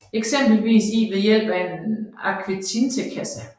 Eksempelvis i ved hjælp af en akvatintekasse